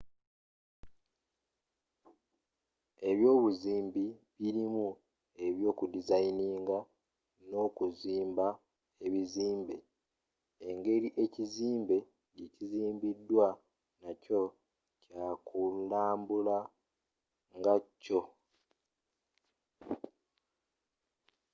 ebyobuzimbi birimu ebyoku designing n'okuzimba ebizimbe engeri ekizimbe gye kizimbiddwamu nakyo kyakulambula ngakyo